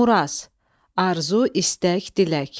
Muraz – arzu, istək, dilək.